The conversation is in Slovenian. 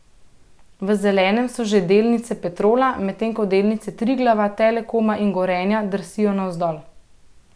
V zelenem so že delnice Petrola, medtem ko delnice Triglava, Telekoma in Gorenja drsijo navzdol.